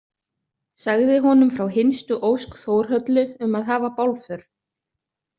Sagði honum frá hinstu ósk Þórhöllu um að hafa bálför.